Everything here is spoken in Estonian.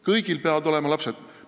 Kõigil peavad olema lapsed!